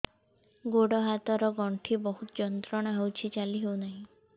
ଗୋଡ଼ ହାତ ର ଗଣ୍ଠି ବହୁତ ଯନ୍ତ୍ରଣା ହଉଛି ଚାଲି ହଉନାହିଁ